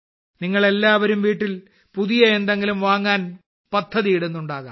നിങ്ങൾ എല്ലാവരും വീട്ടിൽ പുതിയ എന്തെങ്കിലും വാങ്ങാൻ പദ്ധതിയിടുന്നുണ്ടാകാം